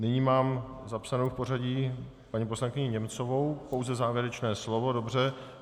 Nyní mám zapsanou v pořadí paní poslankyni Němcovou - pouze závěrečné slovo, dobře.